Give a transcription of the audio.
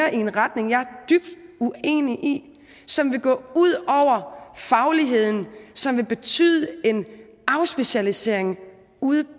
en retning jeg er dybt uenig i som vil gå ud over fagligheden som vil betyde en afspecialisering ude